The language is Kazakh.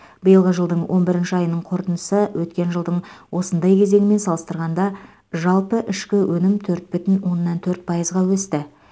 биылғы жылдың он бір айының қорытындысы өткен жылдың осындай кезеңімен салыстырғанда жалпы ішкі өнім төрт бүтін оннан төрт пайызға өсті